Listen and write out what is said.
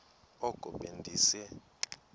oko be ndise